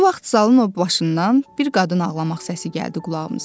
Bu vaxt zalın o başından bir qadın ağlamaq səsi gəldi qulağımıza.